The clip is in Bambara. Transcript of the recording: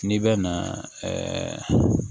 N'i bɛ na ɛɛ